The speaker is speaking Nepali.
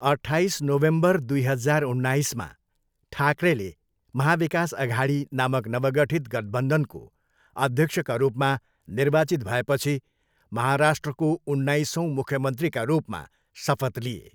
अठ्ठाइस नोभेम्बर दुई हजार उन्नाइसमा, ठाकरेले महा विकास अघाडी नामक नवगठित गठबन्धनको अध्यक्षका रूपमा निर्वाचित भएपछि महाराष्ट्रको उन्नाइसौँ मुख्यमन्त्रीका रूपमा शपथ लिए।